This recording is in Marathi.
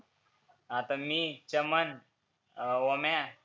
आता मी, चमन, ओम्या